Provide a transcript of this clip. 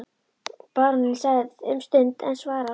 Baróninn þagði um stund en svaraði loks